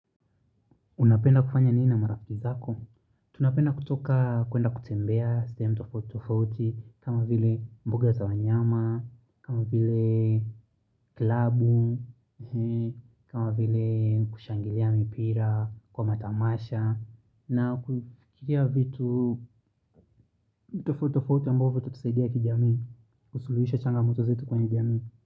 Unapenda kufanya nini na marafiki zako? Tunapenda kutoka kuenda kutembea sehemu tofautitofauti f kama vile mbuga za wanyama, kama vile klabu, kama vile kushangilia mipira, kwa matamasha na kufikia vitu vitu tofautitofauti ambovyo hutusaidia kijamii kusuluhisha changamoto zetu kwa jamii.